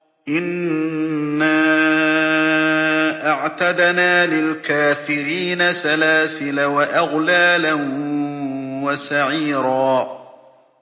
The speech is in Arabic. إِنَّا أَعْتَدْنَا لِلْكَافِرِينَ سَلَاسِلَ وَأَغْلَالًا وَسَعِيرًا